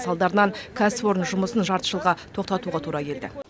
салдарынан кәсіпорын жұмысын жарты жылға тоқтатуға тура келді